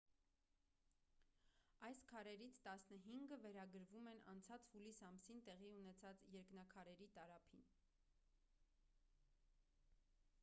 այս քարերից տասնհինգը վերագրվում են անցած հուլիս ամսին տեղի ունեցած երկնաքարերի տարափին